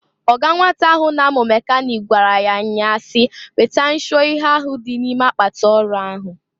Ọga nwata ahụ na-amụ mekanịk gwara ya nnya a si, "Weta nshụọ ihe ahụ dị ime akpatị ọrụ ahụ!"